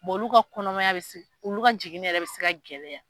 olu ka kɔnɔmaya bɛ olu ka jigin yɛrɛ bɛ se ka gɛlɛya.